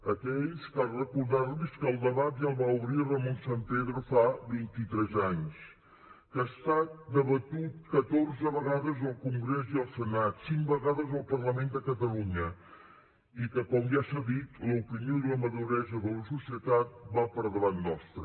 a aquells cal recordar los que el debat ja el va obrir ramon sampedro fa vint i tres anys que ha estat debatut catorze vegades al congrés i al senat cinc vegades al parlament de catalunya i que com ja s’ha dit l’opinió i la maduresa de la societat van per davant nostre